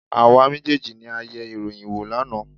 Àwa méjèèjì ni a yẹ ìròyìn wò lánàá.